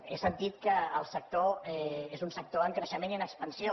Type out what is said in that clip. he sentit que el sector és un sector en creixement i en expansió